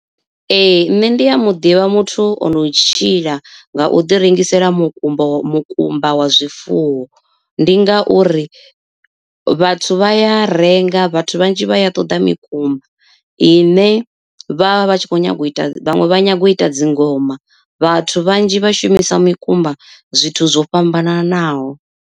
Ee nṋe ndi ya muḓivha muthu ono u tshila nga u ḓi rengisela mukumba wa mukumba wa zwifuwo, ndi ngauri vhathu vha ya renga vhathu vhanzhi vha ya ṱoḓa mikumba. I ne vhavha vhatshi kho nyaga u ita vhaṅwe vha nyaga u ita dzingoma vhathu vhanzhi vha shumisa mikumba zwithu zwo fhambananaho.